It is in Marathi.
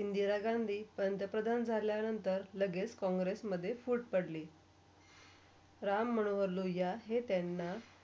इंदिरा गांधी पंतप्रधान झाल्या नंतर लगेच कॉंग्रेसमधे फुट पडली. राममनोहर लोहिया हे त्यांना.